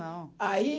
Não. Aí